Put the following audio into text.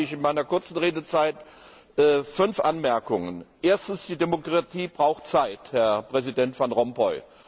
Deshalb habe ich in meiner kurzen Redezeit fünf Anmerkungen Erstens, die Demokratie braucht Zeit, Herr Präsident Van Rompuy.